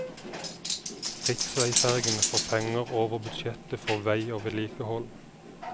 Riksveifergene får penger over budsjettet for vei og vedlikehold.